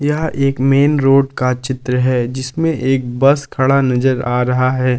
यह एक main road का चित्र है जिसमें एक बस खड़ा नजर आ रहा है।